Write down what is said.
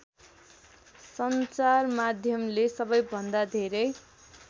सञ्चारमाध्यमले सबैभन्दा धेरै